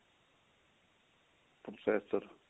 processor